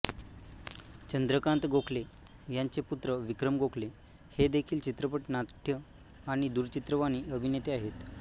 चंद्रकांत गोखले यांचे पुत्र विक्रम गोखले हेदेखील चित्रपट नाट्य आणि दूरचित्रवाणी अभिनेते आहेत